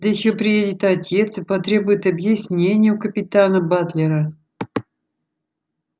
да ещё приедет отец и потребует объяснения у капитана батлера